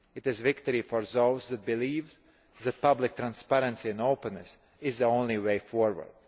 It is a victory for those that believe that public transparency and openness are the only way forward.